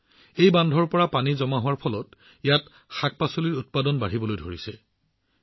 check বান্ধৰ পৰা পানী জমা হোৱাৰ বাবে ইয়াত সেউজীয়া বননি আৰু শাকপাচলিও বাঢ়িবলৈ আৰম্ভ কৰিছে